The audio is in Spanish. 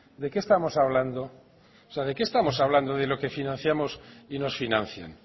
de qué estamos hablando o sea de que estamos hablando de lo que financiamos y nos financien